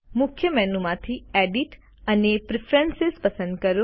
મુખ્ય મેનુ માંથી એડિટ અને પ્રેફરન્સ પસંદ કરો